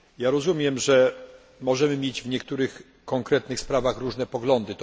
Rozumiem, że możemy mieć w niektórych konkretnych sprawach różne poglądy.